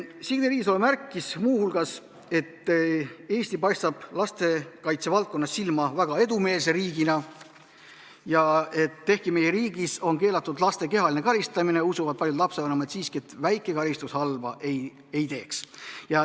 Signe Riisalo märkis muu hulgas, et Eesti paistab lastekaitsevaldkonnas silma väga edumeelse riigina, aga ehkki meie riigis on keelatud laste kehaline karistamine, usuvad paljud lastevanemad siiski, et väike karistus halba ei teeks.